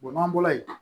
n'an bɔra yen